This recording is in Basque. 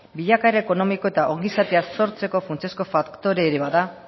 bilakaera ekonomiko eta ongizatea sortzeko funtsezko faktorea ere bada